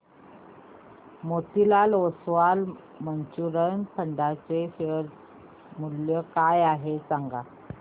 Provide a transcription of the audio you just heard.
Motilal Oswal mutual fund चे share मूल्य काय आहे सांगा